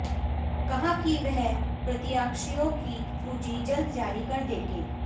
कहा कि वह प्रत्याशियों की सूची जल्द जारी कर देंगे